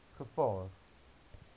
gevaar